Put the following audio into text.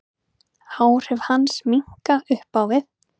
Áhrif hans minnka upp á við.